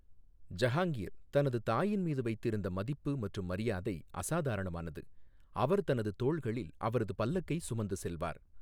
ஜஹாங்கீர் தனது தாயின் மீது வைத்திருந்த மதிப்பு மற்றும் மரியாதை அசாதாரணமானது, அவர் தனது தோள்களில் அவரது பல்லக்கை சுமந்து செல்வார்.